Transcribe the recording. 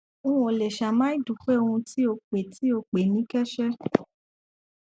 n ò le ṣàì má dúpé ohun tí o pè tí o pè ní kẹsẹ